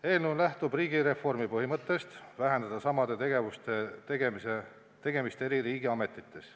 Eelnõu lähtub riigireformi põhimõttest vähendada samade tegevuste tegemist eri riigiametites.